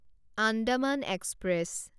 Andaman express